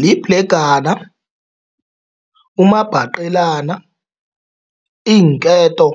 Libhlegana, umabhaqelana, iinketo